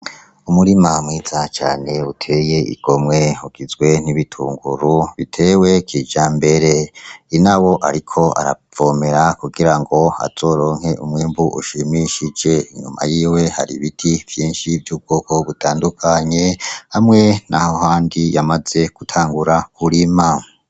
Umurima mwiza cane uteye igomwe hugizwe n'ibitunguru, bitewe kija mbere ina wo, ariko aravomera kugira ngo azoronke umwimbu ushimishije inyuma yiwe hari ibiti vyinshi vy'ubwoko gutandukanye hamwe na ho handi yamaze gutangura kuri imamu.